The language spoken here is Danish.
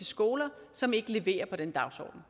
skoler som ikke leverer på den dagsorden